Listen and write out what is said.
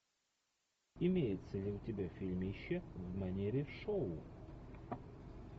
имеется ли у тебя фильмище в манере шоу